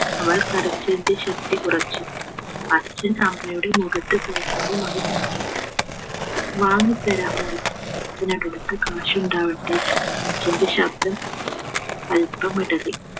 അവൾ കരച്ചിലിന്റെ ശക്തി കുറച്ചു അച്ഛൻ അമ്മയുടെ മുഖത്ത് ദയനീയമായി നോക്കി വാങ്ങിത്തരാം മോളു അച്ഛൻ cash ഉണ്ടാവട്ടെ അച്ഛന്റെ ശബ്ദം അല്പം ഇടറി